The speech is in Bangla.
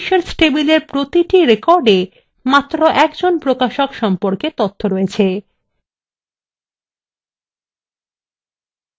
publishers table প্রতিটি recordএ মাত্র একজন প্রকাশক সম্পর্কে তথ্য রয়েছে